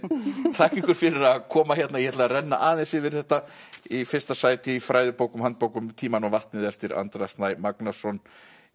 þakka ykkur fyrir að koma hérna ég ætla að renna aðeins yfir þetta í fyrsta sæti í fræðibókum og handbókum um tímann og vatnið eftir Andra Snæ Magnason